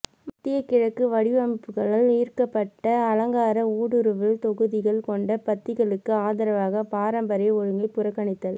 மத்திய கிழக்கு வடிவமைப்புகளால் ஈர்க்கப்பட்ட அலங்கார ஊடுருவல் தொகுதிகள் கொண்ட பத்திகளுக்கு ஆதரவாக பாரம்பரிய ஒழுங்கைப் புறக்கணித்தல்